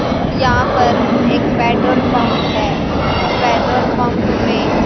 यहां पर एक पेट्रोल पंप है पेट्रोल पंप में--